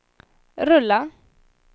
rulla